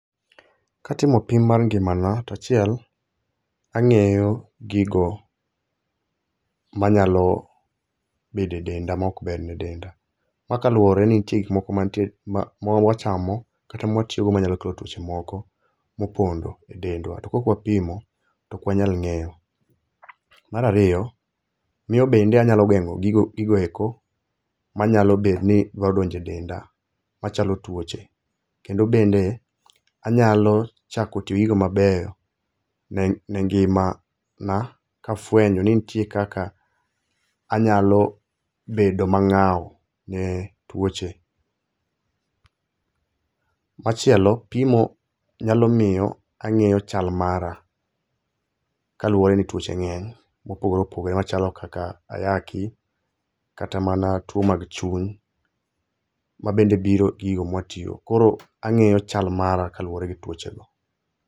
Katimo pim mar ngimana, tachiel ang'eyo gigo manyalo bede denda mok ber ne denda. Makaluwore ni nitie gik moko mantie, ma mwachamo kata mwatiyogo manyalo kelo tuoche moko mopondo e dendwa. To kok wapimo tok wanyal ng'eyo. Marariyo, miyo bende anyalo geng'o gigo eko manyalo bet ni dwa donje denda machalo tuoche. Kendo bende anyalo chako tiyo gi gigo mabeyo ne ngimana kafwenyo ni nitie kaka anyalo bedo mang'ao ne tuoche. Machielo, pimo nyalo miyo ang'eyo chal mara, kaluwore ni tuoche ng'eny mopogore opogore machalo kaka ayaki, kata mana tuo mag chuny. Ma bende biro gi gigo mwatiyogo, koro ang'iyo chal mara kaluwore gi tuoche go.